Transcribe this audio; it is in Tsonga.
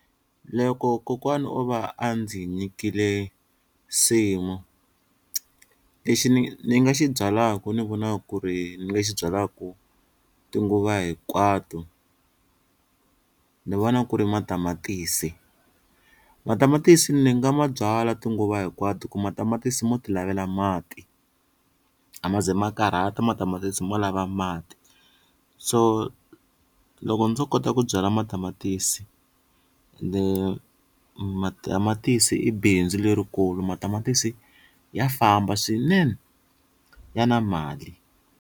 Loko kokwana o va a ndzi nyikile nsimu lexi ni ni nga xi byalaka ni vona ku ri ni nga xi byalaka tinguva hinkwato ni vona ku ri matamatisi, matamatisi ni nga ma byala tinguva hinkwato hi ku matamatisi mo ti lavela mati a ma ze ma karhata matamatisi mo lava mati, so loko ndzo kota ku byala matamatisi ende matamatisi i bindzu lerikulu matamatisi ya famba swinene ya na mali.